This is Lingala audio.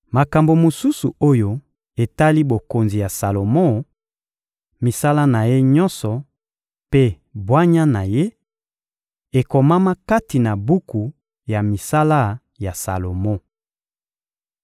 Makambo mosusu oyo etali bokonzi ya Salomo, misala na ye nyonso mpe bwanya na ye, ekomama kati na buku ya misala ya Salomo.